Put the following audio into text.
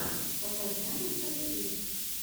покажи анастасиз